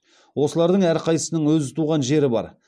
осылардың әрқайсысының өз туған жері бар